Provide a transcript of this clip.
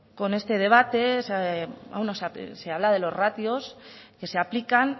con este debate se habla de los ratios que se aplican